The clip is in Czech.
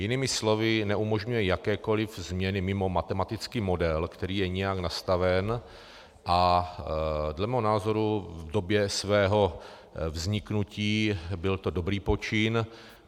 Jinými slovy, neumožňuje jakékoliv změny mimo matematický model, který je nějak nastaven, a dle mého názoru v době svého vzniku byl to dobrý počin.